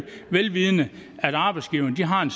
vel vidende at arbejdsgiverne har en